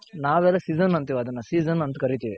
ನಾವೆಲ್ಲಾ season ಅಂತಿವ್ ಅದನ್ನ season ಅಂತ ಕರಿತಿವಿ.